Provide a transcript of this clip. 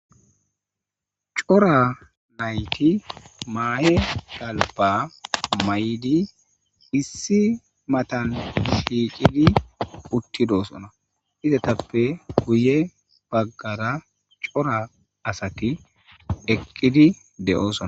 Cora nayti maahe galbba mayidi issi matan shiiqidi uttidoosona. izatappe guye baggara cora asati eqqidi de7oosona.